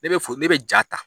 Ne bɛ ne bɛ ja ta.